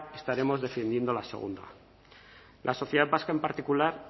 estaremos defendiendo la segunda la sociedad vasca en particular